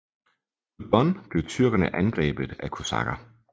På Don blev tyrkerne angrebet af kosakker